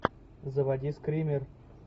заводи скример